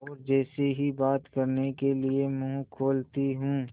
और जैसे ही बात करने के लिए मुँह खोलती हूँ